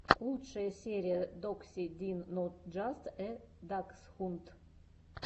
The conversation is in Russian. лучшая серия докси дин нот джаст э даксхунд